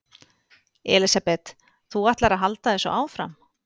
Elísabet: Þú ætlar að halda þessu áfram?